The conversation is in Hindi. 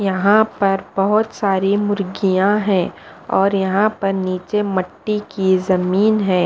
यहाँ पर बहुत सारी मुर्गियाँ हैं और यहाँ पर नीचे मट्टी की जमीन है।